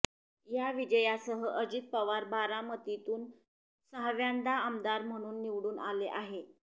या विजयासह अजित पवार बारामतीतून सहाव्यांदा आमदार म्हणून निवडून आले आहे